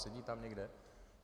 Sedí tam někde?